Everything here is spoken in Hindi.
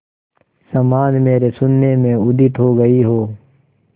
समान मेरे शून्य में उदित हो गई हो